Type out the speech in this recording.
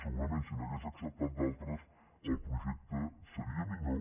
segurament si n’hagués acceptat d’altres el projecte seria millor